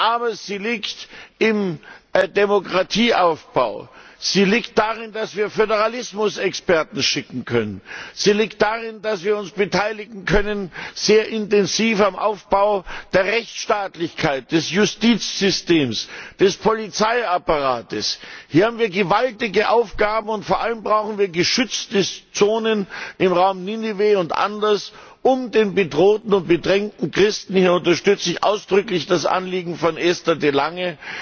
Aber sie liegt im Demokratieaufbau, sie liegt darin, dass wir Föderalismusexperten schicken können, sie liegt darin, dass wir uns sehr intensiv am Aufbau der Rechtsstaatlichkeit, des Justizsystems, des Polizeiapparats beteiligen können. Hier haben wir gewaltige Aufgaben. Vor allem brauchen wir geschützte Zonen im Raum Ninive und anderswo, um den bedrohten und bedrängten Christen hier unterstütze ich ausdrücklich das Anliegen von Esther de